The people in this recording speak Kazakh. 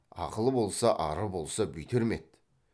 ақылы болса ары болса бүйтер ме еді